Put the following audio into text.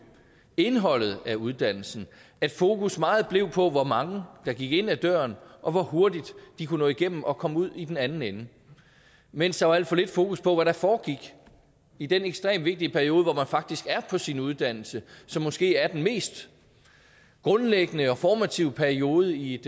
indholdet af uddannelsen og at fokus meget blev på hvor mange der gik ind ad døren og hvor hurtigt de kunne nå igennem og komme ud i den anden ende mens der var alt for lidt fokus på hvad der foregik i den ekstremt vigtige periode hvor man faktisk er på sin uddannelse som måske er den mest grundlæggende og formative periode i et